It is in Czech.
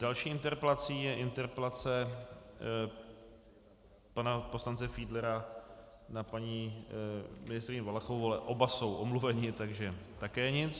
Další interpelací je interpelace pana poslance Fiedlera na paní ministryni Valachovou, ale oba jsou omluveni, takže také nic.